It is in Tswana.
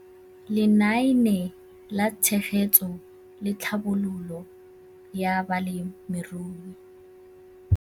Lenaane la Tshegetso le Tlhabololo ya Balemirui